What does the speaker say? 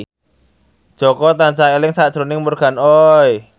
Jaka tansah eling sakjroning Morgan Oey